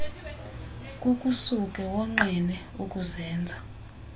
kukusuke wonqene ukuzenza